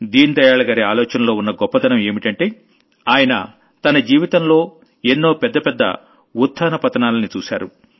దీన్ దయాళ్ గారి ఆలోచనల్లో ఉన్న గొప్పదనం ఏంటంటే ఆయన తన జీవితంలో ఎన్నో పెద్ద పెద్ద ఉత్థాన పతనాల్ని చూశారు